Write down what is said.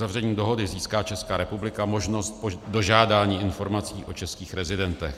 Uzavřením dohody získá Česká republika možnost dožádání informací o českých rezidentech.